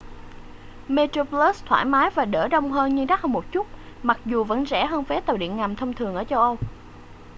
metroplus thoải mái và đỡ đông hơn nhưng đắt hơn một chút mặc dù vẫn rẻ hơn vé tàu điện ngầm thông thường ở châu âu